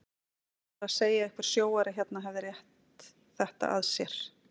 Hann var að segja að einhver sjóari hérna hefði rétt þetta að sér.